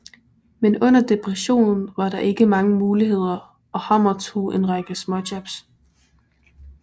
Men under depressionen var der ikke mange muligheder og Hammer tog en række småjobs